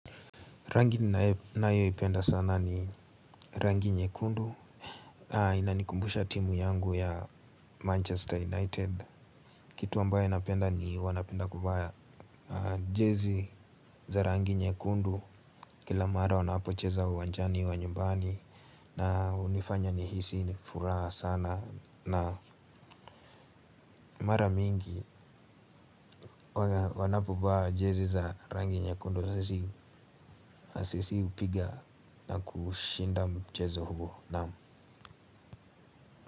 Rangi ninayoipenda sana ni rangi nyekundu, inanikumbusha timu yangu ya Manchester United, kitu ambayo napenda ni wanapenda kuvaa jazi za rangi nyekundu kila mara wanapocheza uwanjani wa nyumbani na hunifanya nihisi ni furaha sana na mara mingi wanapovaa jazi za rangi nyekundu sisi hupiga na kushinda mchezo huo naam.